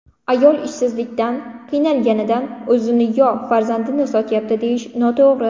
Ayol ishsizlikdan, qiynalganidan o‘zini yo farzandini sotyapti, deyish noto‘g‘ri.